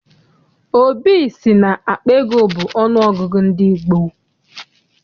Obi sị na akpa ego bụ ọnụ ọgụgụ ndị gboo.